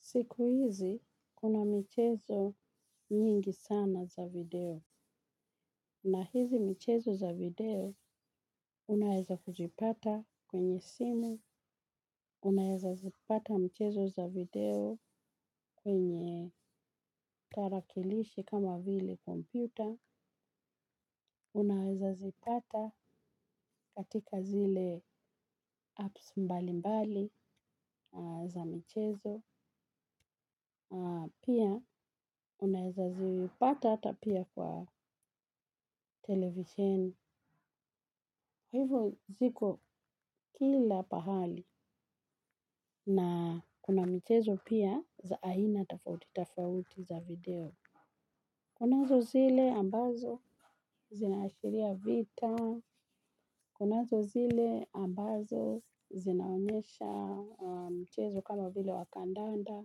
Sikuizi kuna michezo nyingi sana za video na hizi michezo za video unaeza kujipata kwenye simu, unaeza zipata michezo za video kwenye tarakilishi kama hili kompyuta, unaeza zipata katika zile apps mbali mbali za michezo. Pia unaeza zipata ata pia kwa televishen. Hivyo ziko kila pahali na kuna michezo pia za aina tofauti tofauti za video. Kunazo zile ambazo zinaashiria vita. Kunazo zile ambazo zinaonyesha mchezo kama vile wa kandanda.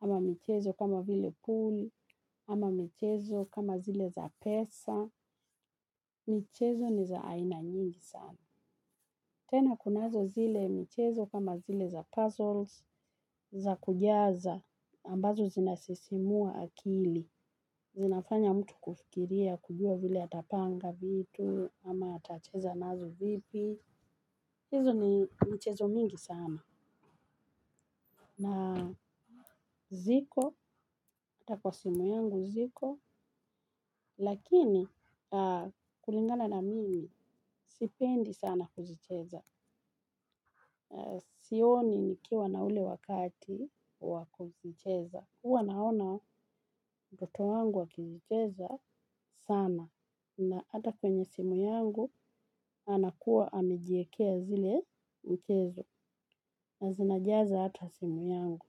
Ama michezo kama vile pool. Ama michezo kama zile za pesa. Michezo ni za aina nyingi sana. Tena kunazo zile michezo kama zile za puzzles za kujaza ambazo zinasisimua akili. Zinafanya mtu kufikiria kujua vile atapanga vitu. Ama atacheza nazo vipi. Hizo ni michezo mingi sana. Na ziko, hata kwa simu yangu ziko. Lakini kulingana na mimi sipendi sana kuzicheza. Sioni nikiwa na ule wakati wa kuzicheza. Huwa naona mtoto wangu akizicheza sana. Na ata kwenye simu yangu. Anakua amejiekea zile michezo. Na zinajaza hata simu yangu.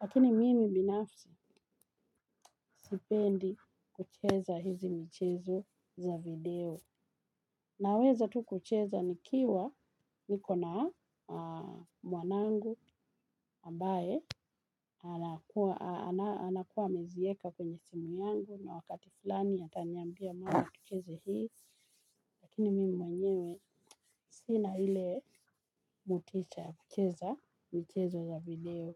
Lakini mimi binafsi sipendi kucheza hizi michezo za video. Naweza tu kucheza nikiwa niko na mwanangu ambaye anakua amezieka kwenye simu yangu na wakati fulani ataniambia mama tucheze hii. Lakini mimi mwenyewe sina ile motisha ya kucheza michezo za video.